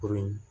Kurun in